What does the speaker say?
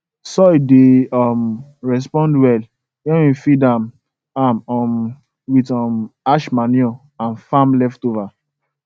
soil dey um respond well when we feed am am um with um ash manure and farm leftover